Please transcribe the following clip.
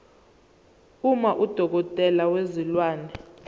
uma udokotela wezilwane